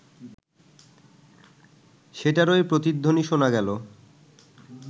সেটারই প্রতিধ্বনি শোনা গেল